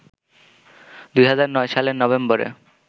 ২০০৯ সালের নভেম্বরে